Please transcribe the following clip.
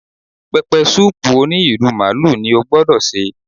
Pẹpẹsúùpù òní ìrù màlúù ni ó gbọ́dọ̀ sè